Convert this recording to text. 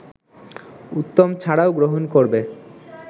উত্তম ছাড়াও গ্রহণ করবে